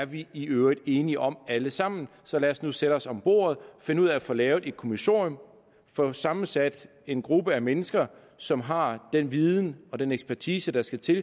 vi i øvrigt er enige om alle sammen så lad os nu sætte os om bordet og finde ud af at få lavet et kommissorium og få sammensat en gruppe af mennesker som har den viden og den ekspertise der skal til